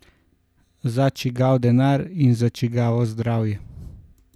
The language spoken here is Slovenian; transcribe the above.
Za čigav denar in za čigavo zdravje?